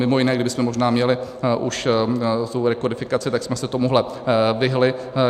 Mimo jiné, kdybychom možná měli už tu rekodifikaci, tak jsme se tomuto vyhnuli.